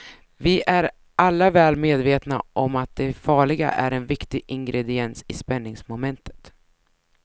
Vi är alla väl medvetna om att det farliga är en viktig ingrediens i spänningsmomentet.